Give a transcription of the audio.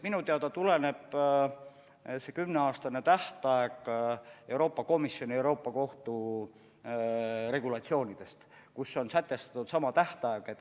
Minu teada tuleneb see kümneaastane tähtaeg Euroopa Komisjoni ja Euroopa Kohtu regulatsioonidest, kus on sätestatud sama tähtaeg.